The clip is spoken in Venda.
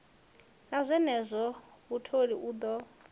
na zwenezwo mutholi u ḓo